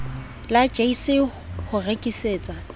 la jse le ho rekisetsa